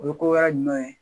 O ye ko wɛrɛjumɛn ye